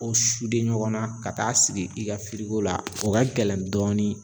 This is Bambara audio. O ɲɔgɔnna ka taa sigi i ka la o ka gɛlɛn dɔɔnin